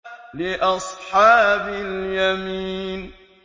لِّأَصْحَابِ الْيَمِينِ